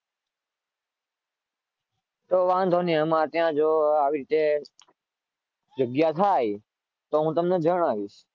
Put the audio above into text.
તો વાંધો નહીં અમારા ત્યાં જો આવી રીતે જગ્યા થાય તો તમને જણાવીશ.